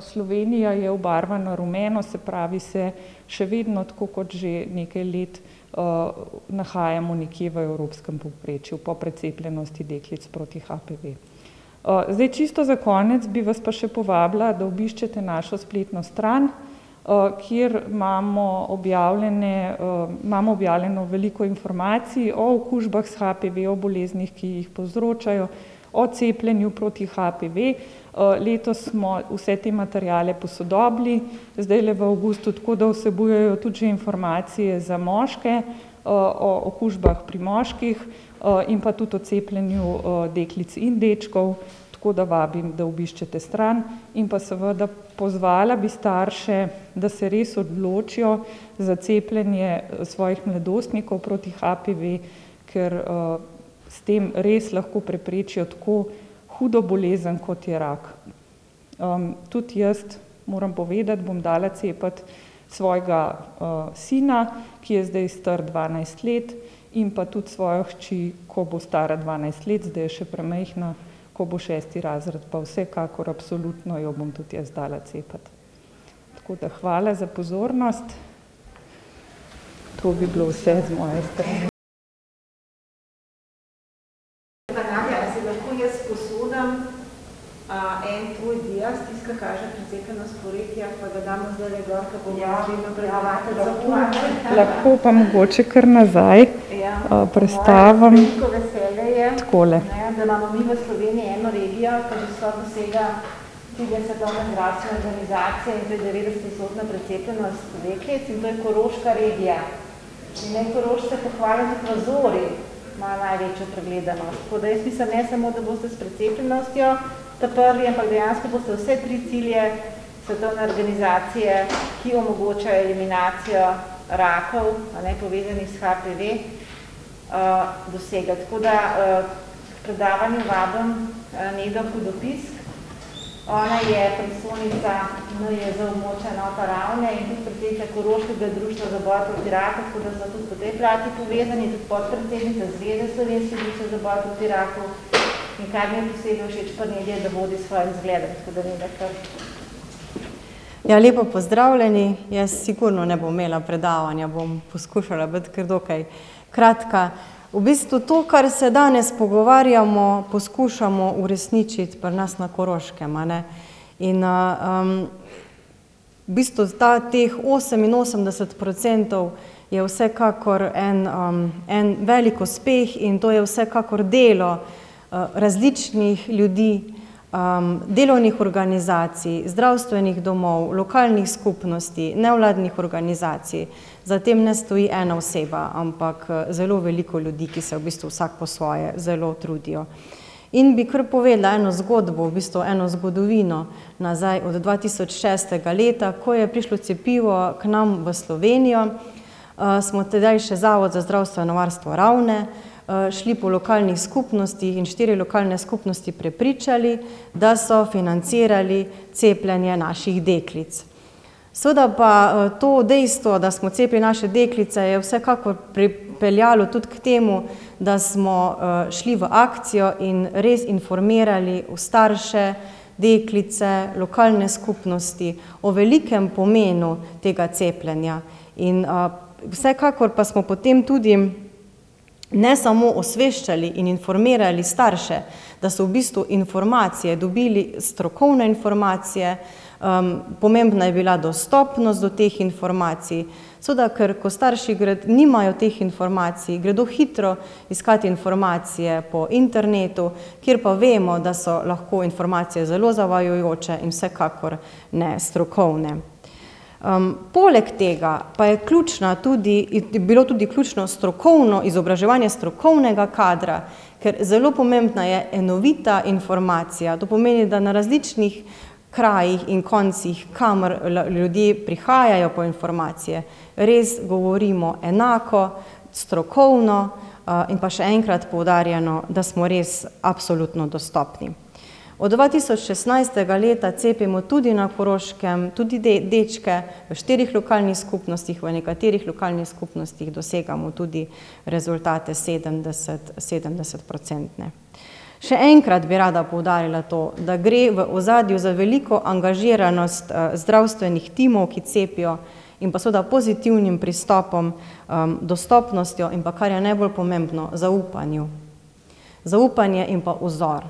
Slovenija je obarvana rumeno, se pravi, se še vedno, tako kot že nekaj let, nahajamo nekje v evropskem povprečju po precepljenosti deklic proti HPV. zdaj čisto za konec bi vas pa še povabila, da obiščete našo spletno stran, kjer imamo objavljene, imamo objavljeno veliko informacij o okužbah s HPV, o boleznih, ki jih povzročajo, o cepljenju proti HPV. letos smo vse te materiale posodobili zdajle v avgustu, tako da vsebujejo tudi že informacije za moške, o okužbah pri moških, in pa tudi o cepljenju, deklic in dečkov. Tako da vabim, da obiščete stran in pa seveda pozvala bi starše, da se res odločijo za cepljenje svojih mladostnikov proti HPV, ker, s tem res lahko preprečijo tako hudo bolezen, kot je rak. tudi jaz moram povedati, bom dala cepiti svojega, sina, ki je zdaj star dvanajst let, in pa tudi svojo hčer, ko bo stara dvanajst let, zdaj je še premajhna. Ko bo šesti razred, pa vsekakor absolutno jo bom tudi jaz dala cepiti. Tako da, hvala za pozornost, to bi bilo vse z moje strani. Nadja, si lahko jaz sposodim, en tvoj en tvoj dias, tisti, ki kaže precepljenost po regijah, pa ga damo zdajle gor ke bomo naslednjo predavateljico povabili. Ja, ja, lahko. Lahko pa mogoče kar nazaj. Ja. prestavim. V moje veliko veselje je, Takole. ne, da imamo mi v Sloveniji eno regijo, ke že skoraj dosega cilje Svetovne zdravstvene organizacije, in to je devetdesetodstotna precepljenost deklic, in to je koroška regija. In naj Korošce pohvalim, tudi na Zori imajo največjo pregledanost. Tako da jaz mislim, da ne samo, da boste s precepljenostjo ta prvi, ampak dejansko boste vse tri cilje Svetovne organizacije, ki omogočajo eliminacijo rakov, a ne, povezanih s HPV, dosegli. Tako da, ker predavanju vabim, Nedo Hudopisk. Ona je predstojnica NIJZ, območna enota Ravne, in je predsednica Koroškega društva za boj proti raku, tako da sva tudi po tej plati povezani, tudi podpredsednica Zveze slovenskih društev za boj proti raku. In kar mi je posebej všeč pri njej, je, da vodi s svojim zgledom. Tako da Neda, kar. Ja, lepo pozdravljeni. Jaz sigurno ne bom imela predavanja. Bom poskušala biti kar dokaj kratka. V bistvu to, kar se danes pogovarjamo, poskušamo uresničiti pri nas na Koroškem, a ne. In, v bistvu ta, teh oseminosemdeset procentov je vsekakor en, en velik uspeh in to je vsekakor delo, različnih ljudi, delovnih organizacij, zdravstvenih domov, lokalnih skupnosti, nevladnih organizacij. Za tem ne stoji ena oseba, ampak, zelo veliko ljudi, ki se v bistvu vsak po svoje zelo trudijo. In bi kar povedala eno zgodbo, v bistvu eno zgodovino nazaj od dva tisoč šestega leta, ko je prišlo cepivo k nam v Slovenijo, smo tedaj še Zavod za zdravstveno varstvo Ravne, šli po lokalnih skupnostih in štiri lokalne skupnosti prepričali, da so financirali cepljenje naših deklic. Seveda pa, to dejstvo, da smo cepili naše deklice, je vsekakor pripeljalo tudi k temu, da smo, šli v akcijo in res informirali starše, deklice, lokalne skupnosti o velikem pomenu tega cepljenja. In, vsekakor pa smo potem tudi ne samo osveščali in informirali starše, da so v bistvu informacije dobili, strokovne informacije, pomembna je bila dostopnost do teh informacij. Seveda, ker kot starši nimajo teh informacij, gredo hitro iskat informacije po internetu, kjer pa vemo, da so lahko informacije zelo zavajajoče in vsekakor ne strokovne. poleg tega pa je ključna tudi, je bilo tudi ključno strokovno izobraževanje strokovnega kadra, ker zelo pomembna je enovita informacija, to pomeni, da na različnih krajih in koncih, kamor ljudje prihajajo po informacije, res govorimo enako, strokovno, in pa še enkrat poudarjeno, da smo res absolutno dostopni. Od dva tisoč šestnajstega leta cepimo tudi na Koroškem tudi dečke v štirih lokalnih skupnostih, v nekaterih lokalnih skupnostih dosegamo tudi rezultate sedemdesetprocentne. Še enkrat bi rada poudarila to, da gre v ozadju za veliko angažiranost, zdravstvenih timov, ki cepijo, in pa seveda pozitivnim pristopom, dostopnostjo in pa, kar je najbolj pomembno, zaupanju. Zaupanje in pa vzor.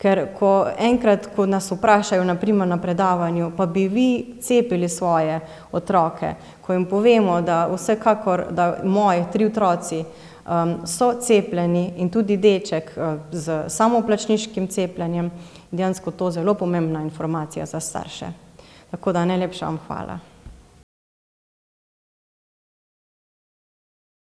Ker ko, enkrat ko nas vprašajo, na primer na predavanju: pa bi vi cepili svoje otroke? Ko jim povemo, da vsekakor, da moji tri otroci, so cepljeni in tudi deček, s samoplačniškim cepljenjem, dejansko to zelo pomembna informacija za starše. Tako da, najlepša vam hvala.